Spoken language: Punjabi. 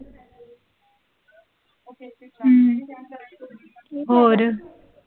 ਹੂੰ, ਹੋਰ?